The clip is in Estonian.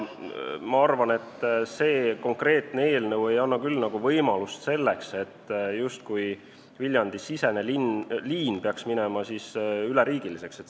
Ma arvan, et see konkreetne eelnõu ei anna küll võimalust, et Viljandi-sisene liin saaks minna üleriigiliseks.